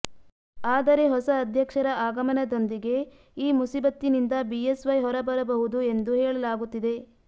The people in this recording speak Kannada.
ಆದರೆ ಹೊಸ ಅಧ್ಯಕ್ಷರ ಆಗಮನದೊಂದಿಗೆ ಈ ಮುಸೀಬತ್ತಿನಿಂದ ಬಿಎಸ್ವೈ ಹೊರಬರುಬಹುದು ಎಂದು ಹೇಳಲಾಗುತ್ತಿದೆ